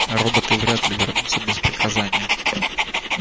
а роботы вряд ли вернутся без приказания